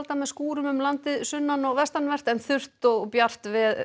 með skúrum um landið sunnan og vestanvert en þurrt og bjart